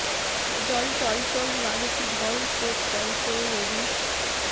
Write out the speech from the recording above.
জল টল টল নামে কী ঢল স্রোত চঞ্চল নদীর